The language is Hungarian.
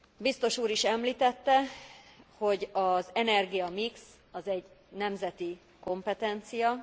Biztos úr is említette, hogy az energia mix az egy nemzeti kompetencia.